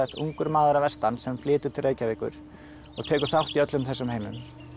ungur maður að vestan sem flytur til Reykjavíkur og tekur þátt í öllum þessum heimum